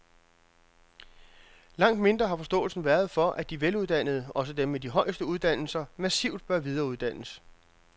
Langt mindre har forståelsen været for, at de veluddannede, også dem med de højeste uddannelser, massivt bør videreuddannes.